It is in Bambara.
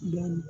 Dɔɔnin